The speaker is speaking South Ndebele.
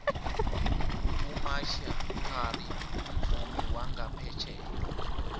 umaxia khari mvumi wangaphetjheya